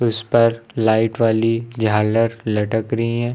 इस पर लाइट वाली झालर लटक रही हैं।